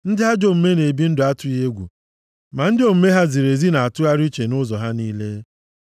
Ndị ajọ omume na-ebi ndụ atụghị egwu, ma ndị omume ha ziri ezi na-atụgharị uche nʼụzọ ha niile.